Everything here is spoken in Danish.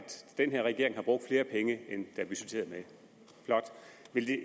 den her regering har brugt flere penge end er budgetteret med flot